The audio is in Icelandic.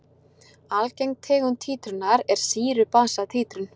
Algeng tegund títrunar er sýru-basa títrun.